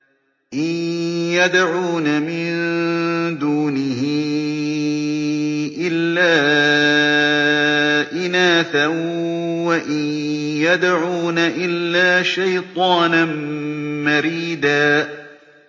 إِن يَدْعُونَ مِن دُونِهِ إِلَّا إِنَاثًا وَإِن يَدْعُونَ إِلَّا شَيْطَانًا مَّرِيدًا